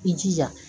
I jija